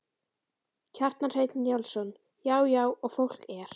Kjartan Hreinn Njálsson: Já já og fólk er?